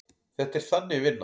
Þetta er Þannig vinna.